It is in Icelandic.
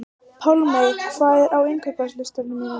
Pálmey, hvað er á innkaupalistanum mínum?